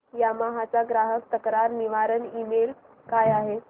Yamaha चा ग्राहक तक्रार निवारण ईमेल काय आहे